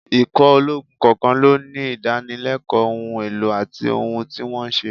Ikọ̀ ológun kọ̀ọ̀kan ló ní ìdánilẹ́kọ̀ọ́, ohun èlò àti ohun tí wọ́n ń ṣe